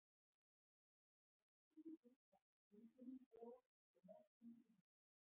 Hann skrapp út í búð ásamt hundinum Bo og nokkrum lífvörðum.